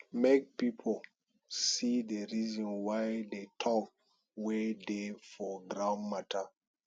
make pipo see di reason why the talk wey dey for ground matter